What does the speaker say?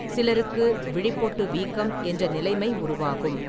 சிலருக்கு விழிப்பொட்டு வீக்கம் என்ற நிலைமை உருவாகும்.